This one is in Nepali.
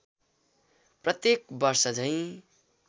प्रत्येक वर्षझैँ